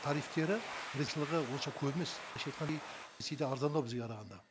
тарифтері онша көп емес арзандау бізге қарағанда